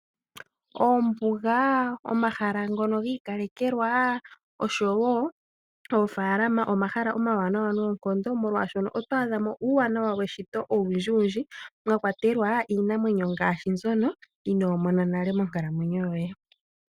Ombuga, omahala ngono giikalekelwa oshowoo oofaalama, omahala omawanawa noonkondo molwaashono oto adhamo uuwanawa weshito owundjiwundji , mwakwatelwa iinamwenyo ngaashi mbyono inoo mona nale monkalamwenyo yoye.